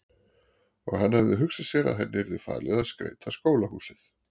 Og hann hafði hugsað sér að henni yrði falið að skreyta skólahúsið.